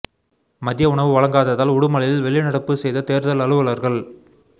மதிய உணவு வழங்காததால் உடுமலையில் வெளி நடப்பு செய்த தோ்தல் அலுவலா்கள்